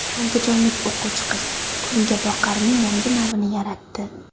Andijonlik o‘quvchi qiz kungaboqarning yangi navini yaratdi.